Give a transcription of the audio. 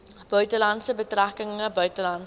buitelandse betrekkinge buitelandse